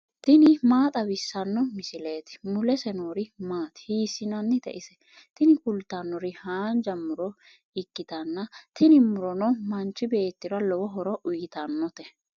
tini maa xawissanno misileeti ? mulese noori maati ? hiissinannite ise ? tini kultannori haanja muro ikkitanna tini murono manchi beettira lowo horo uyiitannote.